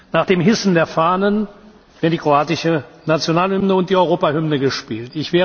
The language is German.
Nach dem Hissen der Fahnen werden die kroatische Nationalhymne und die Europahymne gespielt.